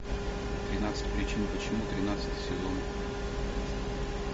тринадцать причин почему тринадцатый сезон